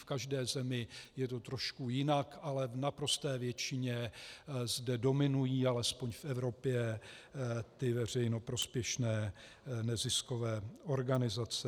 V každé zemi je to trošku jinak, ale v naprosté většině zde dominují, alespoň v Evropě, ty veřejnoprospěšné neziskové organizace.